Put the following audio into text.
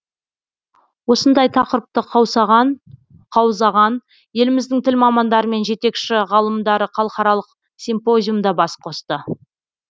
осындай тақырыпты қаузаған еліміздің тіл мамандары мен жетекші ғалымдары халықаралық симпозиумда бас қосты